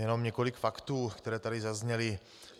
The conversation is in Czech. Jen několik faktů, které tu zazněly.